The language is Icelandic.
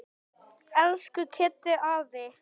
Elsku Kiddi afi.